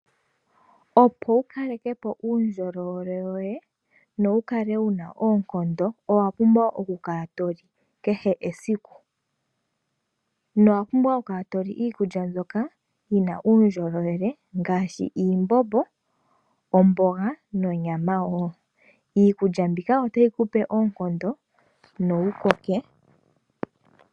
Opo wu kaleke po uundjolowele woye no wu kale wuna oonkondo. Owa pumbwa okukala to li kehe esiku, no wa pumbwa okukala to li iikulya mbyoka yi na uundjolowele ngaashi iimbombo, omboga nonyama wo. Iikulya mbika otayi ku pe oonkondo no wu koke.